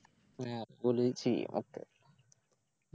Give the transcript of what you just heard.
അപ്പൊലി ചെയ്യണൊക്കെ